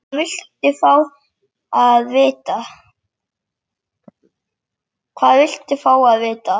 Hvað viltu fá að vita?